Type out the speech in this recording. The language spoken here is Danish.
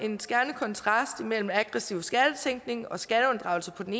en skærende kontrast imellem aggressiv skattetænkning og skatteunddragelse på den